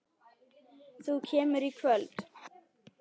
Þú kemur í kvöld!